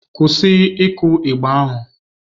Kwụsị ịkụ igba ahụ!